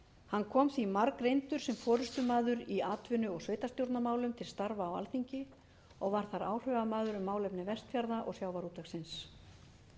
hann kom því margreyndur sem forustumaður í atvinnu og sveitarstjórnarmálum til starfa á alþingi og var þar áhrifamaður um málefni vestfjarða og sjávarútvegsins